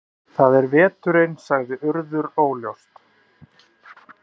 Það er veturinn sagði Urður óljóst.